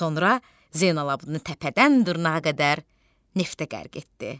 Sonra Zeynalabdini təpədən dırnağa qədər neftə qərq etdi.